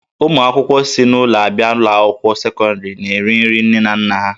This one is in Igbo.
Ụmụ akwụkwọ si n'ụlọ abịa ụlọ akwụkwọ sekọndrị na-eri nri nne na nna ha